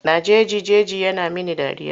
Na jeji jeji yana mini dariya.